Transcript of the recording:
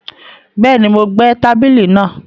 Bẹ́ẹ̀ni, Mo gbẹ́ tábìlì náà